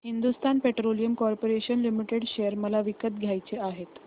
Hindustan Petroleum Corporation Limited share मला विकत घ्यायचे आहेत